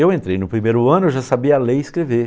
Eu entrei no primeiro ano, eu já sabia ler e escrever.